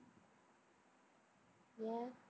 ஏன்?